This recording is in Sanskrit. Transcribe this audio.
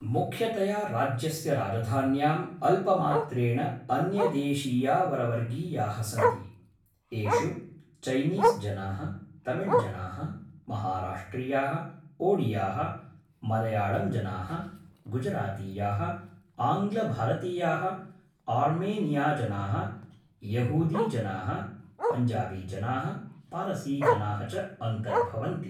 मुख्यतया राज्यस्य राजधान्यां अल्पमात्रेण अन्यदेशीयावरवर्गीयाः सन्ति, येषु चैनीस्जनाः, तमिळ्जनाः, महाराष्ट्रियाः, ओडियाः, मलयाळम्जनाः, गुजरातीयाः, आङ्ग्लभारतीयाः, आर्मेनियाजनाः, यहूदीजनाः, पञ्जाबीजनाः, पारसीजनाः च अन्तर्भवन्ति।